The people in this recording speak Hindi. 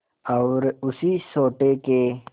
और उसी सोटे के